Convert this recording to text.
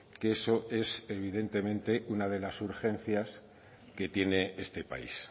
que eso es evidentemente una de las urgencias que tiene este país